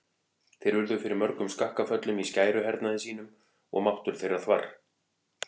Þeir urðu fyrir mörgum skakkaföllum í skæruhernaði sínum og máttur þeirra þvarr.